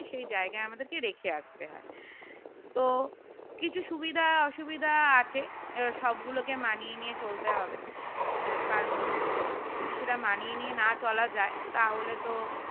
সেই জায়গায় আমাদের রেখে আসতে হয় তো কিছু সুবিধা অসুবিধা আছে এবার সবগুলোকে মানিয়ে নিয়ে চলতে হবে কারণ যদি সেটা মানিয়ে নিয়ে না চলা যায় তাহলে তো